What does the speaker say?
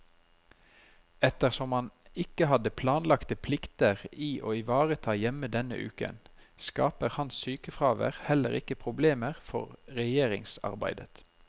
Ettersom han ikke hadde planlagte plikter i å ivareta hjemme denne uken, skaper hans sykefravær heller ikke problemer for regjeringsarbeidet.